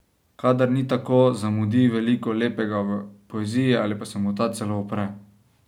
Kadar ni tako, zamudi veliko lepega v poeziji ali pa se mu ta celo upre.